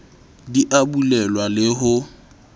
di a bulelwa le ho